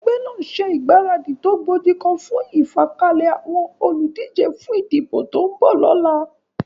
Egbé nàá n se ìgbáradì tó gbojigan fún ìfàkalè àwon olùdíje fún ìdìbò ton bò lónà